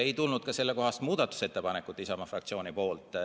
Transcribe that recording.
Ei tulnud ka sellekohast muudatusettepanekut Isamaa fraktsioonilt.